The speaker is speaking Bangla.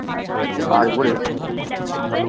আরবরে